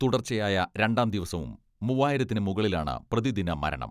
തുടർച്ചയായ രണ്ടാം ദിവസവും മൂവായിരത്തിന് മുകളിലാണ് പ്രതിദിന മരണം.